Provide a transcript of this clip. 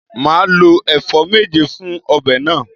Màá lo èfó méje fun obè náà